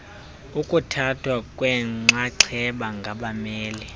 ukuthathwa kwenxaxheba ngabameli